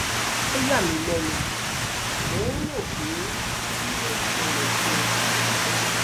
ó yà mí lẹnu mò ń rò ó pé kí ló ń ṣẹlẹ kẹ